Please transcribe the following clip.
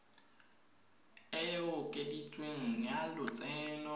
e e okeditsweng ya lotseno